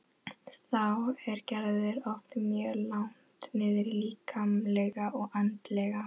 Þá er Gerður oft mjög langt niðri líkamlega og andlega.